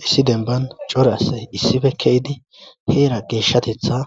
issi denban cora asy issife keydi heera geeshshatetha